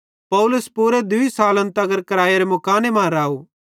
पौलुस पूरे दूई सालन तगर क्रैइयेरे मुकाने मां राव